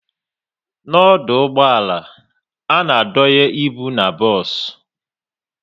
N'ọdụ ụgbọala, a na-adonye ịbụ n'bos